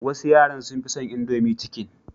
Wasu yaran sun fi son indomie chicken.